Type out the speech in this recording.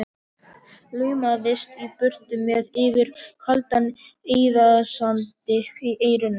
Laumaðist í burtu með Yfir kaldan eyðisand í eyrunum.